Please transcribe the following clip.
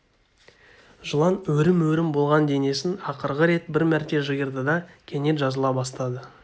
жылан өрім-өрім болған денесін ақырғы рет бір мәрте жиырды да кенет жазыла бастады